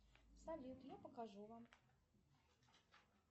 салют я покажу вам